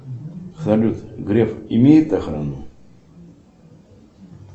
салют греф имеет охрану